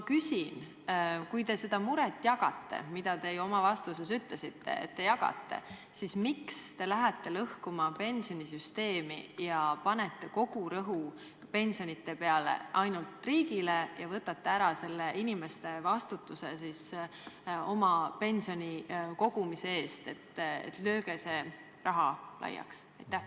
Kui te seda muret jagate – ja te oma vastuses ütlesite, et jagate –, siis miks te lähete lõhkuma pensionisüsteemi ja panete kogu vastutuse pensionite eest ainult riigile ja võtate ära inimeste enda vastutuse oma pensioni kogumise eest, öeldes, et lööge see raha laiaks?